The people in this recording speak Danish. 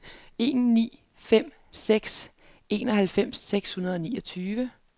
en ni fem seks enoghalvfems seks hundrede og niogtyve